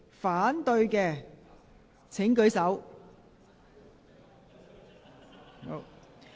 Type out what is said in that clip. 反對的請舉手。